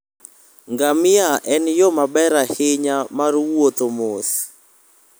Ngamia en yo maber ahinya mar wuotho mos.